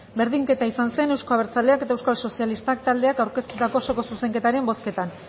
berdinketa izan zen euzko abertzaleak eta euskal sozialistak taldeek aurkeztutako osoko zuzenketaren bozketan